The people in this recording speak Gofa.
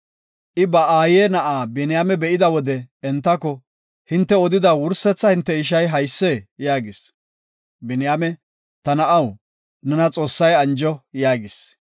I ba aaye na7aa Biniyaame be7ida wode entako, “Hinte odida wursetha hinte ishay haysee?” yaagis. Biniyaame, “Ta na7aw, nena Xoossay anjo” yaagis.